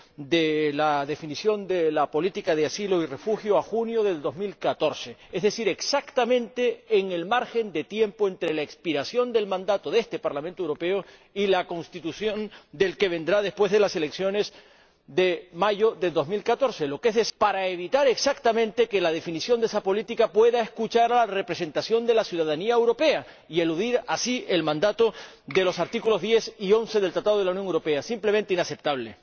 de la definición de la política de asilo y refugio a junio de 2014, es decir, exactamente en el lapso de tiempo comprendido entre la expiración del mandato de este Parlamento Europeo y la constitución del que vendrá después de las elecciones de mayo de 2014, para evitar justamente que, al definir esa política, pueda escucharse a la representación de la ciudadanía europea y eludir así el mandato de los artículos 10 y 11 del Tratado de la Unión Europea. Simplemente, inaceptable.